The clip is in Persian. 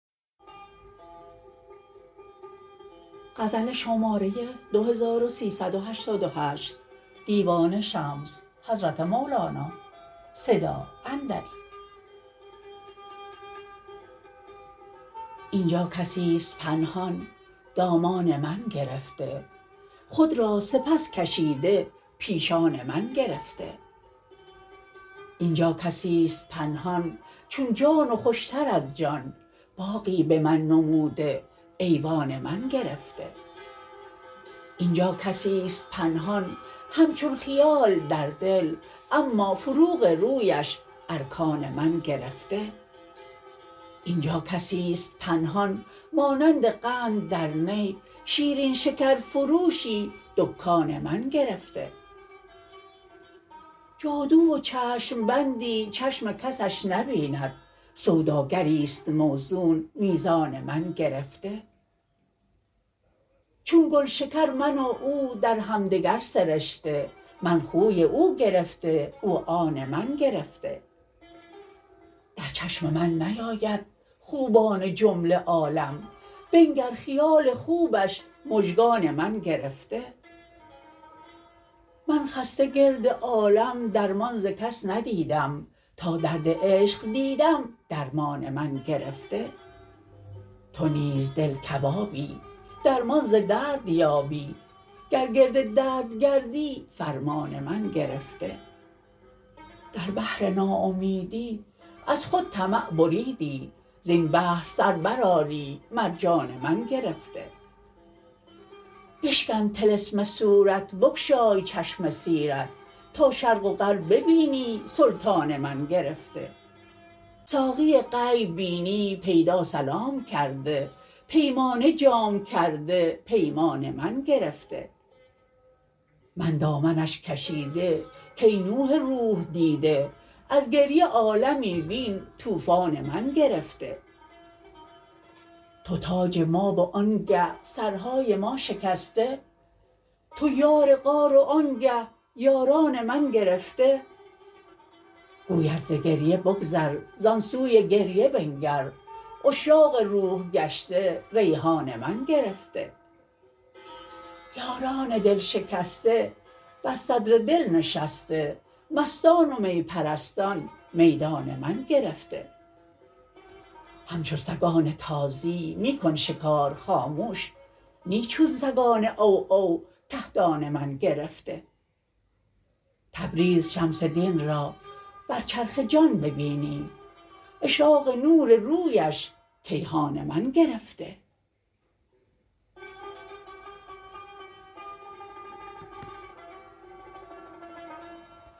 این جا کسی ست پنهان دامان من گرفته خود را سپس کشیده پیشان من گرفته این جا کسی ست پنهان چون جان و خوش تر از جان باغی به من نموده ایوان من گرفته این جا کسی ست پنهان همچون خیال در دل اما فروغ رویش ارکان من گرفته این جا کسی ست پنهان مانند قند در نی شیرین شکرفروشی دکان من گرفته جادو و چشم بندی چشم کسش نبیند سوداگری ست موزون میزان من گرفته چون گل شکر من و او در هم دگر سرشته من خوی او گرفته او آن من گرفته در چشم من نیاید خوبان جمله عالم بنگر خیال خوبش مژگان من گرفته من خسته گرد عالم درمان ز کس ندیدم تا درد عشق دیدم درمان من گرفته تو نیز دل کبابی درمان ز درد یابی گر گرد درد گردی فرمان من گرفته در بحر ناامیدی از خود طمع بریدی زین بحر سر برآری مرجان من گرفته بشکن طلسم صورت بگشای چشم سیرت تا شرق و غرب بینی سلطان من گرفته ساقی غیب بینی پیدا سلام کرده پیمانه جام کرده پیمان من گرفته من دامنش کشیده کای نوح روح دیده از گریه عالمی بین طوفان من گرفته تو تاج ما و آنگه سرهای ما شکسته تو یار غار و آنگه یاران من گرفته گوید ز گریه بگذر زان سوی گریه بنگر عشاق روح گشته ریحان من گرفته یاران دل شکسته بر صدر دل نشسته مستان و می پرستان میدان من گرفته همچو سگان تازی می کن شکار خامش نی چون سگان عوعو کهدان من گرفته تبریز شمس دین را بر چرخ جان ببینی اشراق نور رویش کیهان من گرفته